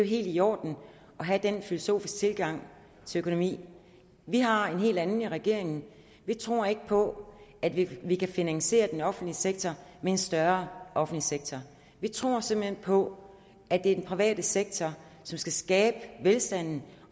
helt i orden at have den filosofiske tilgang til økonomi vi har en helt anden tilgang i regeringen vi tror ikke på at vi vi kan finansiere den offentlige sektor med en større offentlig sektor vi tror simpelt hen på at det er den private sektor som skal skabe velstand